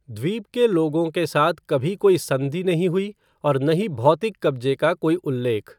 द्वीप के लोगों के साथ कभी कोई संधि नहीं हुई और न ही भौतिक कब्जे का कोई उल्लेख।